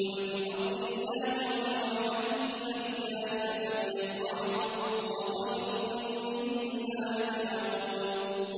قُلْ بِفَضْلِ اللَّهِ وَبِرَحْمَتِهِ فَبِذَٰلِكَ فَلْيَفْرَحُوا هُوَ خَيْرٌ مِّمَّا يَجْمَعُونَ